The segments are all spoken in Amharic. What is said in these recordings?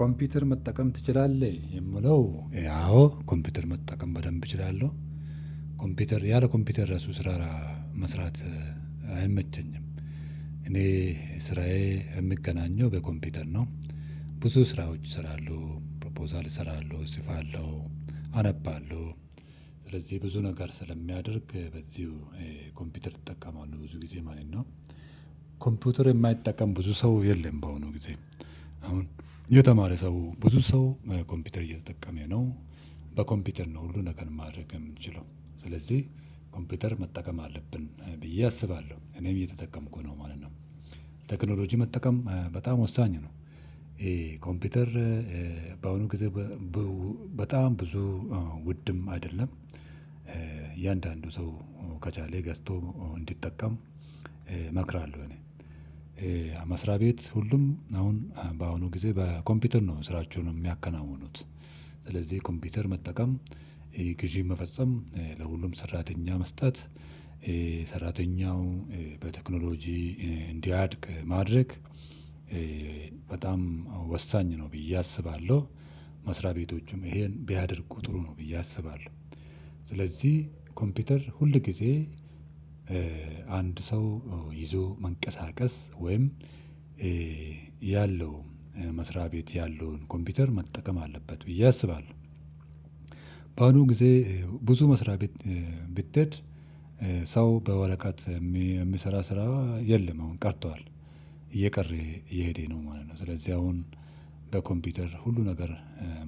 ኮምፒውተር መጠቀም ትችላለህ? የምለው አዎ ኮምፒውተር መጠቀም በደንብ እችላለሁ። ኮምፒውተር ያለ ኮምፒውተር እራሱ ስራ መስራት አይመቸኝም። እኔ ስራዬ የምገናኘው በኮምፒውተር ነው። ብዙ ስራዎች እሰራለሁ ፕሮፖዛል እሰራለሁ እጽፋለሁ አነባለሁ። ስለዚህ ብዙ ነገር ስለሚያደርግ በዚሁ ኮምፒውተር እጠቀማለህ ብዙ ጊዜ ማለት ነው። ኮምፒውተር የማይጠቀም ብዙ ሰው የለም በአሁኑ ጊዜ አሁን የተማረ ሰው ብዙ ሰው ኮምፒውተር እየተጠቀመ ነው። በኮምፒውተር ነው ሁሉ ነገር ማድረግ የምንችለው ስለዚህ ኮምፒውተር መጠቀም አለብን ብዬ አስባለሁ እኔም እየተጠቀምኩ ነው ማለት ነው። ቴክኖሎጂ መጠቀም በጣም ወሳኝ ነው። ይሄ ኮምፒውተር በአሁኑ ጊዜ በጣም ብዙ ውድም አይደለም እያንዳንዱ ሰው ከቻለ ገዝቶ እንዲጠቀም እመክራለሁ። እኔ መስሪያ ቤት ሁሉም አሁን በአሁኑ ጊዜ በኮምፒውተር ነው ስራቸውን የሚያከናውኑት። ስለዚህ ኮምፒውተር መጠቀም ይሄ ግዢ መፈጸም ለሁሉም ሰራተኛ መስጠት ሰራተኛው በቴክኖሎጂ እንዲያድግ ማድረግ በጣም ወሳኝ ነው ብዬ አስባለሁ። መስሪያ ቤቶችም ይሄን ቢያደርጉ ጥሩ ነው ብዬ አስባለሁ። ስለዚህ ኮምፒውተር ሁል ጊዜ አንድ ሰው ይዞ መንቀሳቀስ ወይም ያለው መስሪያ ቤት ያለውን ኮምፒውተር መጠቀም አለበት ብዬ አስባለሁ። በአሁኑ ጊዜ ብዙ መስርያ ቤት ብትሄድ ሰው በወረቀት የሚሰራ ስራ የለም አውን ቀርቱዋል እየቀረ እየሄደ ነው ማለት ነው። ስለዝህ አሁን በኮሚፒተር ሁሉ ነገር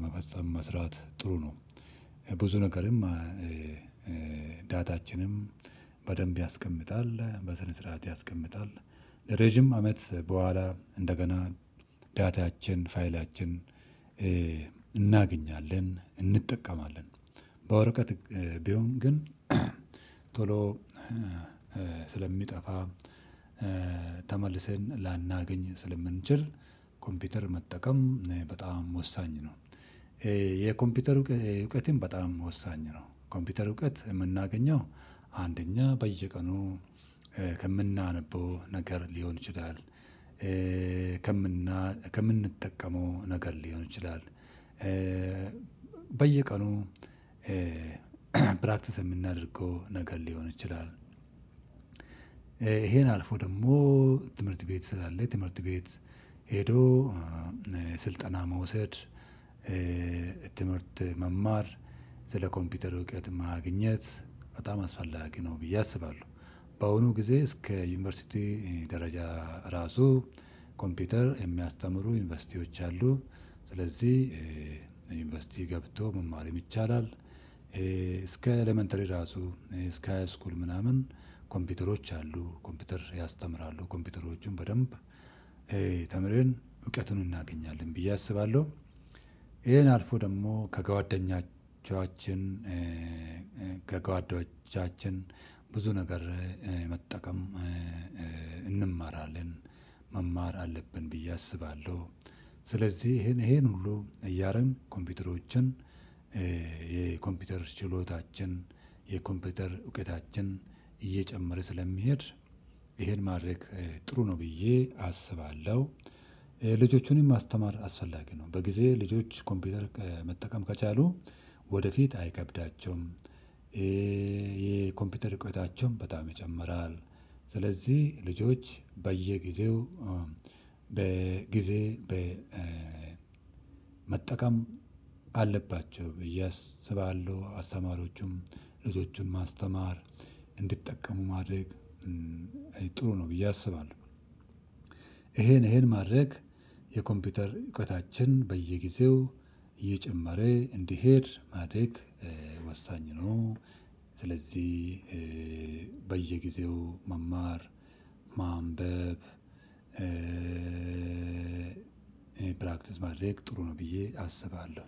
መፈጽም መስራት ጥሩ ነው። ብዙ ነገርም ዳታችንም በደንብ ያስቀምጣል በስነ ስርዓት ያስቀምጣል። ረጅም አመት በኋላ እንደገና ዳታችን ፋይላችን እናገኛለን እንጠቀማለን። በወረቀት ቢሆን ግን ቶሎ ስለሚጠፋ ተመልሰን ላናገኝ ስለምንችል ኮምፒውተር መጠቀም በጣም ወሳኝ ነው። የኮምፒውተር እውቀትም በጣም ወሳኝ ነው ኮምፒውተር እውቀት የምናገኘው አንደኛ በየቀኑ ከምናነበው ነገር ሊሆን ይችላል። ከምናነበው ከምንጠቀመው ነገር ሊሆን ይችላል። በየቀኑ ፕራክቲስ የምናደርገው ነገር ሊሆን ይችላል። ይሄን አልፎ ደግሞ ትምህርት ቤት ስላለ ትምህርት ቤት ሄዶ ስልጠና መውሰድ ትምህርት መማር ስለኮምፒውተር እውቀት ማግኘት በጣም አስፈላጊ ነው ብዬ አስባለሁ። በአሁኑ ጊዜ እስከ ዩኒቨርሲቲ ደረጃ ራሱ ኮምፒውተር የሚያስተምሩ ዩኒቨርሲቲዎች አሉ። ስለዚህ ዩንቨርስቲ ገብቶ መማርም ይቻላል እስከ ኤለመንተሪ ራሱ እስከ ሃይስኩል ምናምን ኮምፒውተሮች አሉ ኮምፒውተር ያስተምራሉ ኮምፒውተሮቹን በደንብ ተምረን እውቀቱን እናገኛለን ብዬ አስባለሁ። ይሄን አልፎ ደግሞ ከጓደኛችኋችን ከጓደኞቻችን ብዙ ነገር መጠቀም እንማራለን መማር አለብን ብዬ አስባለሁ። ስለዚህ ይሄን ይሄን ሁሉ እያደረግን ኮምፒውተሮችን የኮምፒውተር ችሎታችን የኮምፒውተር እውቀታችን እየጨመረ ስለሚሄድ ይሄን ማድረግ ጥሩ ነው ብዬ አስባለሁ። ልጆቹንም ማስተማር አስፈላጊ ነው በጊዜ ልጆች ኮምፒውተር መጠቀም ከቻሉ ወደፊት አይከብዳቸውም። የኮምፒውተር ርዉቀታቸውም በጣም ይጨምራል። ስለዚህ ልጆች በየጊዜው በጊዜ በ መጠቀም አለባቸው ብዬ አስባለሁ። አስተማሪዎቹም ልጆቹም ማስተማር እንድጠቀሙ ማድረግ ጥሩ ነው ብዬ አስባለሁ። ይሄን ማድረግ የኮምፒውተር እውቀታችን በየጊዜው እየጨመረ እንዲሄድ ማደግ ወሳኝ ነው። ስለዚህ በየጊዜው መማር ማንበብ ፕራክቲስ ማድረግ ጥሩ ነው ብዬ አስባለሁ።